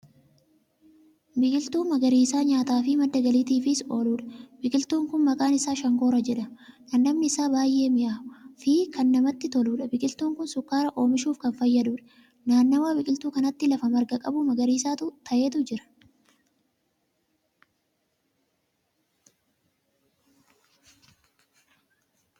Biqiltuu magariisa nyaataafi madda galiitiifis ooludha. biqiltuun Kun maqaan Isaa shankoora jedhama. dhandhamni Isaa baay'ee mi'aawaa Fi Kan namatti toluudha. biqiltuun Kuni sukkaara oomishuuf Kan fayyaduudha. nannawa biqiltuu kanaatti lafa marga qabu magariisa ta'etu jira.